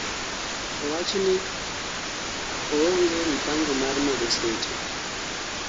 owachni oonge mpango mar medo seche